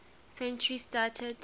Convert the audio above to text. century started